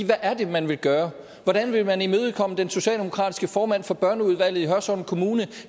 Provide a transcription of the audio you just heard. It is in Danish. hvad er det man vil gøre hvordan vil man imødekomme den socialdemokratiske formand for børneudvalget i hørsholm kommune